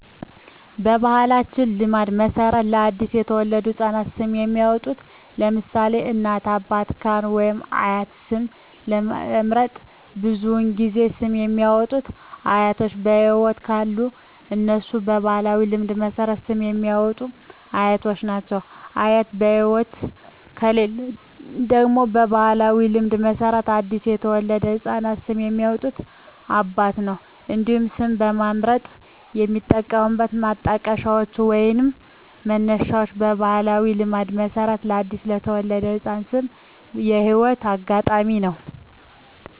በባሕላዊ ልማድ መሠረት ለ አዲስ የተወለደ ሕፃን ስም የሚያወጣዉ (ለምሳሌ: ከእናት፣ አባት፣ ካህን ወይም አያት) ስም ለመምረጥ ብዙውን ጊዜ ስም የሚያወጡት አያቶች በህይወት ካሉ እነሱ በባህላዊ ልማድ መሠረት ስም የሚያወጡት አያቶች ናቸው። አያት በህይወት ከሌሉ ደግሞ በባህላዊ ልማድ መሠረት ለአዲስ የተወለደ ህፃን ስም የሚያወጣው አባት ነው። እንዲሁም ስም ለመምረጥ የሚጠቀሙት ማጣቀሻዎች ወይንም መነሻዎች በባህላዊ ልማድ መሠረት ለአዲስ የተወለደ ህፃን ስም የህይወት አጋጣሚ ነው።